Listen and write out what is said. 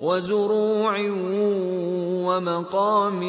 وَزُرُوعٍ وَمَقَامٍ